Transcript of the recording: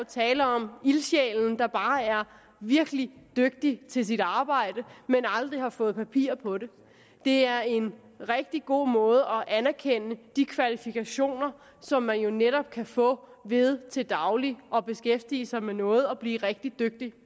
tale om ildsjælen der bare er virkelig dygtig til sit arbejde men aldrig har fået papir på det det er en rigtig god måde at anerkende de kvalifikationer som man jo netop kan få ved til daglig at beskæftige sig med noget og blive rigtig dygtig